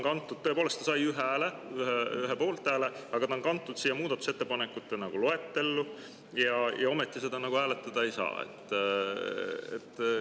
Tõepoolest, ta sai ühe hääle, ühe poolthääle, aga ta on kantud siia muudatusettepanekute loetellu, ja ometi seda hääletada ei saa.